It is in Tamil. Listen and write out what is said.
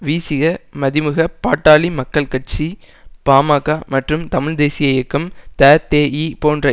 விசிக மதிமுக பாட்டாளி மக்கள் கட்சி பாமக மற்றும் தமிழ் தேசிய இயக்கம் ததேஇ போன்ற